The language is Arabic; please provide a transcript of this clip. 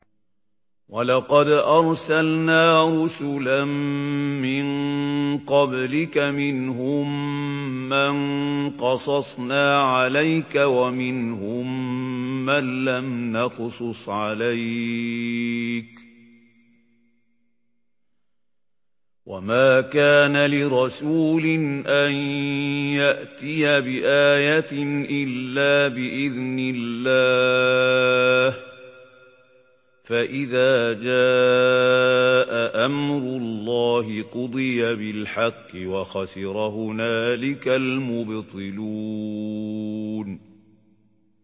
وَلَقَدْ أَرْسَلْنَا رُسُلًا مِّن قَبْلِكَ مِنْهُم مَّن قَصَصْنَا عَلَيْكَ وَمِنْهُم مَّن لَّمْ نَقْصُصْ عَلَيْكَ ۗ وَمَا كَانَ لِرَسُولٍ أَن يَأْتِيَ بِآيَةٍ إِلَّا بِإِذْنِ اللَّهِ ۚ فَإِذَا جَاءَ أَمْرُ اللَّهِ قُضِيَ بِالْحَقِّ وَخَسِرَ هُنَالِكَ الْمُبْطِلُونَ